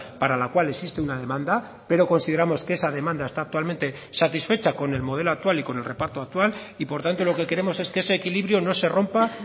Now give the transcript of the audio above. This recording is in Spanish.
para la cual existe una demanda pero consideramos que esa demanda está actualmente satisfecha con el modelo actual y con el reparto actual y por tanto lo que queremos es que ese equilibrio no se rompa